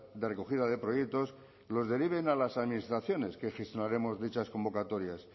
de recogida de proyectos los deriven a las administraciones que gestionaremos dichas convocatorias